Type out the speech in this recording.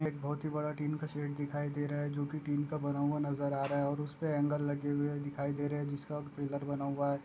एक बहुत ही बड़ा टीन का सेट दिखाई दे रहा है जोकी टीन का बना हुआ नजर आ रहा है ओर उसपे ऐंगल लगे हुए दिखाई दे रहे जिसका पिलर बना हुआ हे।